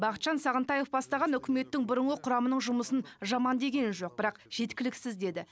бақытжан сағынтаев бастаған үкіметтің бұрынғы құрамының жұмысын жаман деген жоқ бірақ жеткіліксіз деді